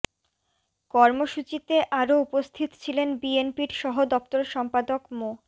কর্মসূচিতে আরো উপস্থিত ছিলেন বিএনপির সহ দপ্তর সম্পাদক মো